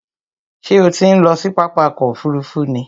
Ṣé o ti ń lọ sí pápá ọkò òfurufú ni?